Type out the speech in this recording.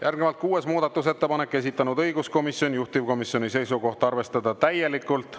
Järgnevalt kuues muudatusettepanek, esitanud õiguskomisjon, juhtivkomisjoni seisukoht on arvestada täielikult.